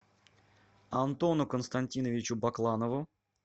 антону константиновичу бакланову